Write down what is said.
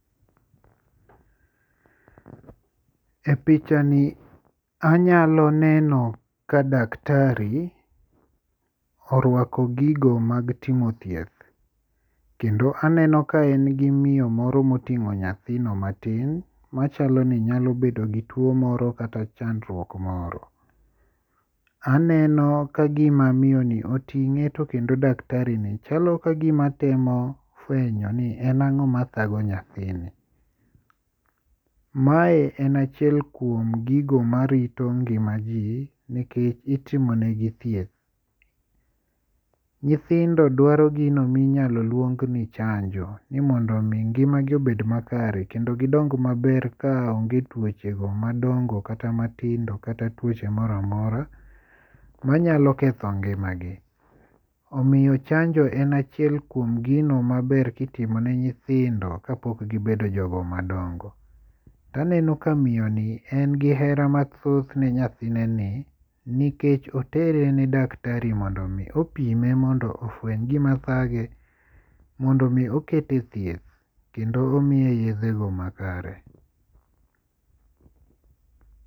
E pichani anyalo neno ka [ca]daktari orwako gigo mag timo thieth. Kendo aneno ka en gi miyo moro moting'o nyathino matin. Machalo ni nyalo bedo gi tuo moro kata chandruok moro. Aneno ka gima miyo ni oting'e to kendo daktari ni chalo kagima temo fwenyo ni en ang'o mathago nyathini. Mae en achiel kuom gigo marito ngima ji nikech itimo negi thieth. Nyithindo dwaro gino minyalo luong ni chanjo ni mondo mi ngima gi obed ma kare kendo gidong maber ka onge tuoche go madongo kata matindo kata tuoche moro amora ma nyalo ketho ngima gi. Omiyo chanjo en chiel kuom gino maber kitimo ne nyithindo kapok gibedo jogo magondo. To aneno ka miyo ni en gi hera mathoth ne nyathine ni nikech otere ne daktari mondo mi opime mondo ofweny gima thage mondo mi okete e thieth kendo omiye yedhe go makare.